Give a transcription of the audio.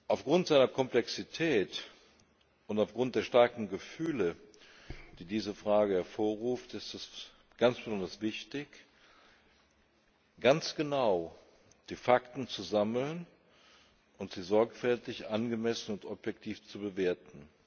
Aufgrund seiner Komplexität und aufgrund der starken Gefühle, die diese Frage hervorruft, ist es ganz besonders wichtig, ganz genau die Fakten zu sammeln und sie sorgfältig, angemessen und objektiv zu bewerten.